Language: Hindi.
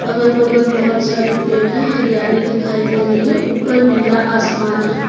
अगल बगल बहोत सारे पेड़ है हरियाली दिखाई दे रही है ऊपर नीला आसमान है।